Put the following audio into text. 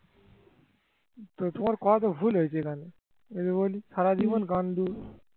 তোমার কথা তো বলা ভুল হয়েছে এখানে। আমি তো বলি সারা জীবন গান্ডু